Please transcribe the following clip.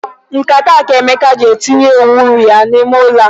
Nkata a ka Emeka ji etinye uwe unyi ya n'ime ụlọ.